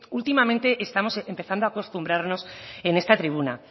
últimamente estamos empezando a acostumbrarnos en esta tribuna